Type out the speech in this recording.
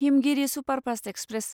Himgiri superfast express